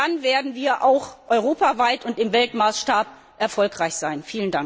Nur dann werden wir auch europaweit und im Weltmaßstab erfolgreich sein.